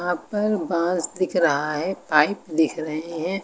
यहां पर बांस दिख रहा है पाइप दिख रही हैं।